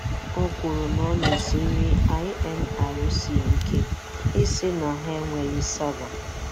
O kwuru na ọ na-esiri INRC ike ịsị na ha enweghị sava.